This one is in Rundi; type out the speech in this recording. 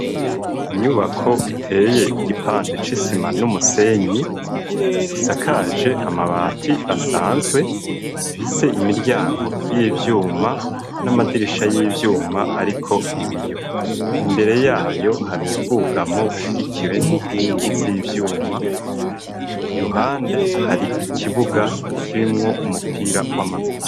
Inyubako iteye igipande c'isima n'umusenyi isakaje amabati asanzwe fise imiryanko y'ivyuma n'amadirisha y'ivyuma, ariko ibiyo imbere yayo hari uwubwugamo bushigikiwe n'inkingi z'ivyumaira bande hari ikibuga kibimwo umupira w'amaguru.